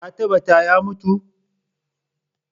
Ka tambatar ya mutu?